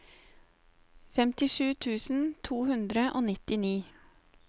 femtisju tusen to hundre og nittini